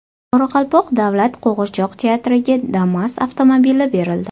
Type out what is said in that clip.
Qoraqalpoq davlat qo‘g‘irchoq teatriga Damas avtomobili berildi.